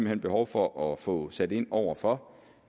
hen behov for at få sat ind over for